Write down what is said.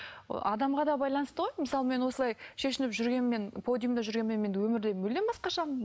ы адамға да байланысты ғой мысалы мен осылай шешініп жүргенмен подиумда жүргенмен мен өмірде мүлдем басқашамын